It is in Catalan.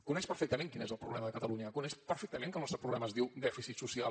coneix perfectament quin és el problema de catalunya coneix perfectament que el nostre problema es diu dèficit social